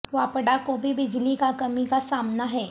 واپڈا کو بھی بجلی کا کمی کا سامنا ہے